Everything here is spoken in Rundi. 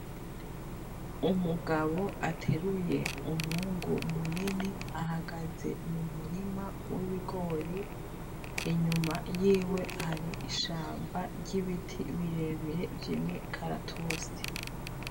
Umugabo ateruye umwungu munini ahagaze mu murima w’ibigori, inyuma yiwe hari ishamba ry’ibiti birebire vy’imikaratusi.